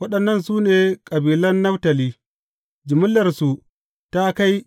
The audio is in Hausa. Waɗannan su ne kabilan Naftali, jimillarsu ta kai